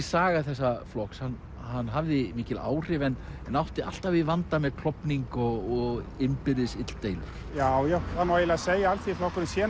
saga þessa flokks hann hann hafði mikil áhrif en en átti alltaf í vanda með klofning og innbyrðis illdeilur já já það má eiginlega segja að Alþýðuflokkurinn sé